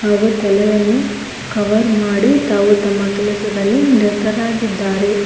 ಹಾಗೂ ತಲೆಯನ್ನು ಕವರ್ ಮಾಡಿ ತಾವು ತಮ್ಮ ಕೆಲಸದಲ್ಲಿ ನಿರತರಾಗಿದ್ದಾರೆ.